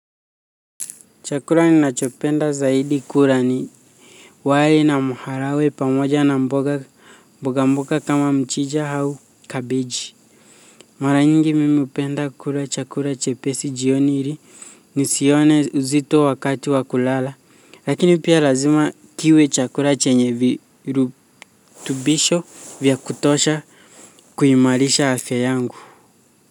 Chakula ninachopenda zaidi kula ni wali na maharagwe pamoja na mboga mboga mboga kama mchija au kabeji mara nyingi mimi hupenda kula chakula chepesi jioni ili ni sione uzito wakati wa kulala lakini pia lazima kiwe chakula chenye virutubisho vya kutosha kuimarisha afya yangu. Kwa hivyo.